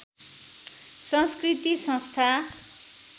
संस्कृति संस्था